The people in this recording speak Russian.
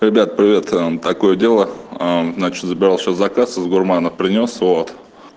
ребят привет а такое дело а значит забрал сейчас заказ из гурмана принёс вот